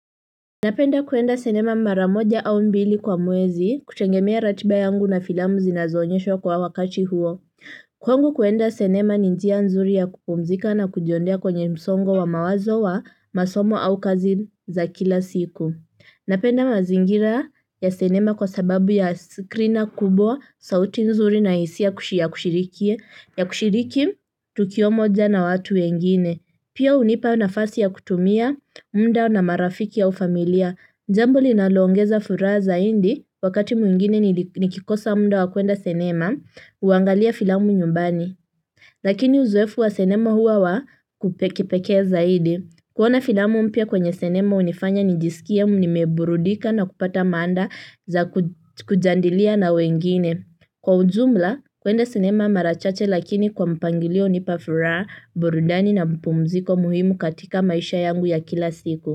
Napenda kwenda sinema mara moja au mbili kwa mwezi kutegemea ratiba yangu na filamu zinazoonyeshwa kwa wakati huo kwangu kwenda sinema ni njia nzuri ya kupumzika na kujiondoa kwenye msongo wa mawazo wa masomo au kazi za kila siku napenda mazingira ya sinema kwa sababu ya skrina kubwa, sauti nzuri na hisia ya kushiriki, ya kushiriki tukio moja na watu wengine. Pia hunipa nafasi ya kutumia, muda na marafiki au familia. Njambo linaloongeza furaha zaidi wakati mwingine nikikosa muda wa kwenda sinema, huangalia filamu nyumbani. Lakini uzoefu wa sinema huwa wa kipeke zaidi. Kuona filamu mpya kwenye sinema hunifanya nijisikie nimeburudika na kupata maada za kujadilia na wengine. Kwa ujumla kwenda sinema mara chache lakini kwa mpangilio hunipa furaha, burudani na mapumziko muhimu katika maisha yangu ya kila siku.